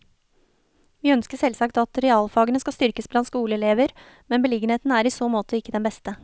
Vi ønsker selvsagt at realfagene skal styrkes blant skoleelever, men beliggenheten er i så måte ikke den beste.